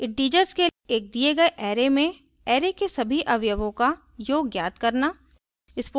integers के एक दिए गए array में array के सभी अवयवों का योग ज्ञात करना